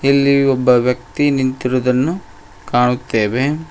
ಇಲ್ಲಿ ಒಬ್ಬ ವ್ಯಕ್ತಿ ನಿಂತಿರುವುದನ್ನು ಕಾಣುತ್ತೆವೆ.